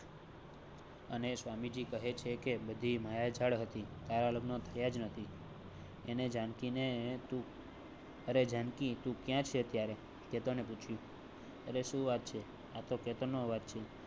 અને સ્વામીજી કહે છે કે બધી માયાજાળ હતી આ લગ્ન થયા જ નથી. એને જાનકી ને. રે જાનકી તું ક્યાં છે અત્યારે કેતન ને પૂછ્યું રી સુ વાત છે આતો કેતન નો અવાજ છે